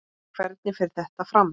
En hvernig fer þetta fram?